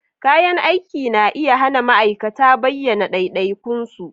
Kayan aiki na iya hana ma'aikata bayyana ɗaiɗaikun su